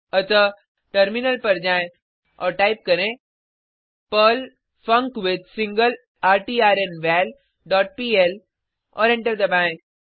अतः टर्मिनल पर जाएँ और टाइप करें पर्ल फंक्विथसिंगलरट्र्नवल डॉट पीएल और एंटर दबाएँ